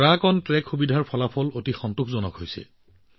truck on track সুবিধাৰ ফলাফল অতি সন্তোষজনক হৈছে